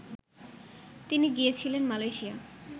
তিনি গিয়েছিলেন, মালেয়শিয়া